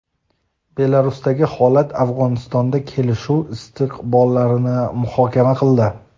Belarusdagi holat va Afg‘onistonda kelishuv istiqbollarini muhokama qildi.